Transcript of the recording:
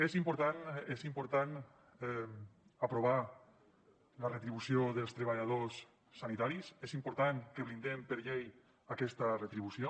és important és important aprovar la retribució dels treballadors sanitaris és important que blindem per llei aquesta retribució